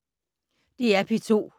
DR P2